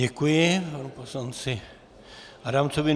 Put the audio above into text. Děkuji, panu poslanci Adamcovi.